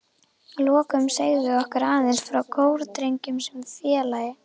Að lokum segðu okkur aðeins frá Kórdrengjum sem félagi?